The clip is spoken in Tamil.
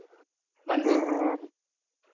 வந்து